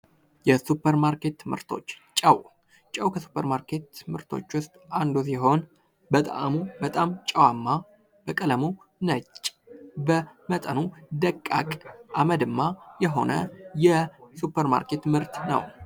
የሱፐር ማርኬት ምርቶች ጨው ከሱፐር ማርኬት ምርቶች ውስጥ አንዱ ሲሆን በጥአሙም በጣም ጨዋማ ፣በቀለሙ ነጭ፣ በመጠኑም ደቃቅ አመደማ የሆነ ሱፐርማርኬት ምርት ነው።